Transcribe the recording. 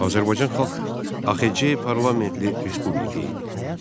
Azərbaycan Xalq, AXC parlamentli respublika idi.